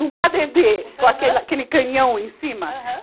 Num padedê, com aquela, aquele canhão em cima. Aham